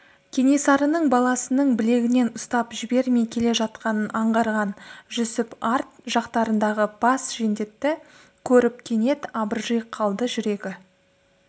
кенесарының баласының білегінен ұстап жібермей келе жатқанын аңғарған жүсіп арт жақтарындағы бас жендетті көріп кенет абыржи қалды жүрегі